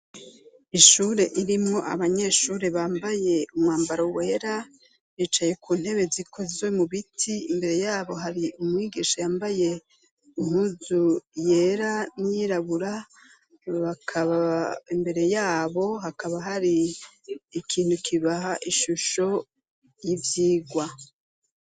Ishure ririmwo abanyeshure bambaye umwambaro wera, bicaye ku ntebe zikozwe mu biti, imbere yabo hari umwigisha yambaye impuzu yera n'iyirabura, imbere yabo hakaba hari ikintu kibaha ishusho y'ivyigwa.